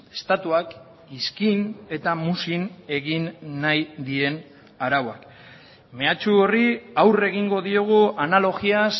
estatuak iskin eta muzin egin nahi dien arauak mehatxu horri aurre egingo diogu analogiaz